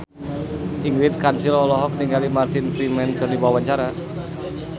Ingrid Kansil olohok ningali Martin Freeman keur diwawancara